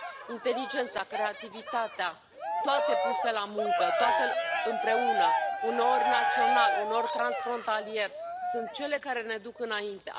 Inteligența, creativitatea, toate puse la muncă, toate împreună, uneori național, uneori transfrontalier, sunt cele care ne duc înainte.